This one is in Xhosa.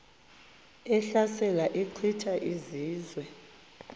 ehlasela echitha izizwe